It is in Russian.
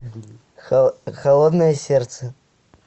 холодное сердце